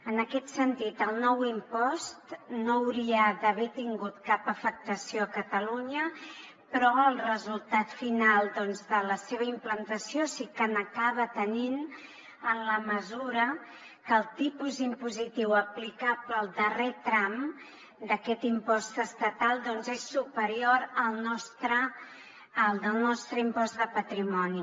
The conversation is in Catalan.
en aquest sentit el nou impost no hauria d’haver tingut cap afectació a catalunya però el resultat final de la seva implantació sí que n’acaba tenint en la mesura que el tipus impositiu aplicable al darrer tram d’aquest impost estatal és superior al del nostre impost de patrimoni